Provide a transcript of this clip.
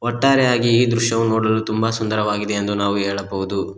ಒಟ್ಟಾರೆಯಾಗಿ ಈ ದೃಶ್ಯವು ನೋಡಲು ತುಂಬ ಸುಂದರವಾಗಿದೆ ಎಂದು ನಾವು ಹೇಳಬಹುದು.